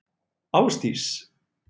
Ásdís